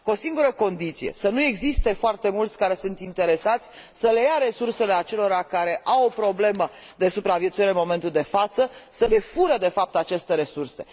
Cu o singură condiție să nu existe foarte mulți care sunt interesați să le ia resursele acelora care au o problemă de supraviețuire în momentul de față, să le fure, de fapt, aceste resurse.